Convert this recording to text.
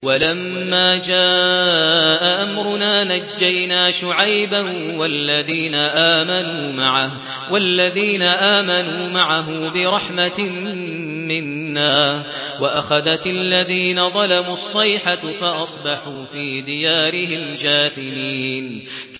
وَلَمَّا جَاءَ أَمْرُنَا نَجَّيْنَا شُعَيْبًا وَالَّذِينَ آمَنُوا مَعَهُ بِرَحْمَةٍ مِّنَّا وَأَخَذَتِ الَّذِينَ ظَلَمُوا الصَّيْحَةُ فَأَصْبَحُوا فِي دِيَارِهِمْ جَاثِمِينَ